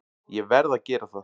Ég verð að gera það!